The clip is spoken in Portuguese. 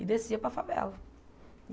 E descia para a favela.